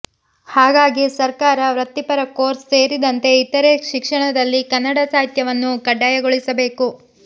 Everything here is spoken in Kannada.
ಹಾಗಾಗಿ ಸರ್ಕಾರ ವೃತ್ತಿಪರಕೋರ್ಸ್ ಸೇರಿದಂತೆ ಇತರೆ ಶಿಕ್ಷಣದಲ್ಲಿ ಕನ್ನಡ ಸಾಹಿತ್ಯವನ್ನು ಕಡ್ಡಾಯಗೊಳಿಸಬೇಕು